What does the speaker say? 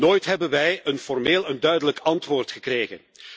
Nooit hebben wij een formeel, duidelijk antwoord gekregen.